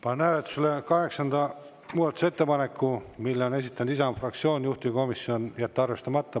Panen hääletusele kaheksanda muudatusettepaneku, mille on esitanud Isamaa fraktsioon, juhtivkomisjon: jätta arvestamata.